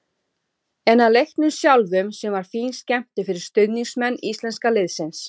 En að leiknum sjálfum sem var fín skemmtun fyrir stuðningsmenn íslenska liðsins.